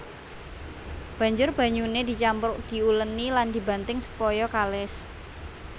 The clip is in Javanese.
Banjur banyuné dicampur diulèni lan dibanting supaya kalis